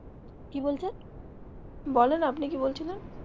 কি বলছেন বলেন আপনি কি বলছিলেন?